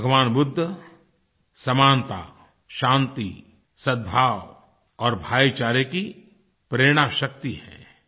भगवान बुद्ध समानता शांति सदभाव और भाईचारे की प्रेरणा शक्ति है